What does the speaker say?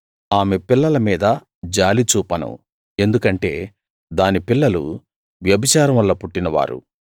ఆమె పిల్లల మీద జాలి చూపను ఎందుకంటే దాని పిల్లలు వ్యభిచారం వల్ల పుట్టినవారు